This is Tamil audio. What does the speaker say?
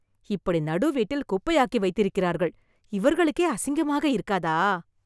இப்படி நடு வீட்டில் குப்பையாக்கி வைத்திருக்கிறார்கள்.. இவர்களுக்கே அசிங்கமாக இருக்காதா!